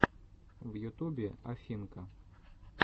в ютубе афинка